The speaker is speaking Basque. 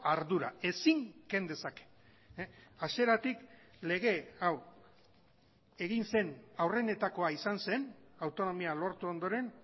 ardura ezin ken dezake hasieratik lege hau egin zen aurrenetakoa izan zen autonomia lortu ondoren